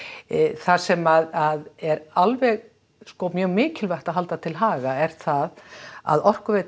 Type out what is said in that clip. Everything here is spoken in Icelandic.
það sem er alveg sko mikilvægt að halda til haga er það að Orkuveita